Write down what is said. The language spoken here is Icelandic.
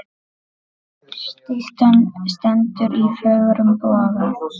Styttan stendur í fögrum boga.